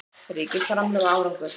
Ríkisframlög og árangur